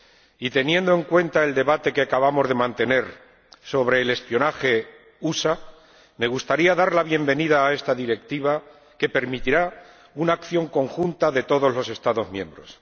Y, teniendo en cuenta el debate que acabamos de mantener sobre el espionaje de los Estados Unidos, me gustaría dar la bienvenida a esta directiva que permitirá una acción conjunta de todos los Estados miembros.